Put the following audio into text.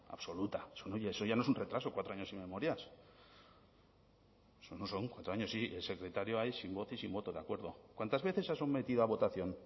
absoluta eso ya no es un retraso cuatro años sin memorias y el secretario ahí sin voz y sin voto de acuerdo cuántas veces ha sometido a votación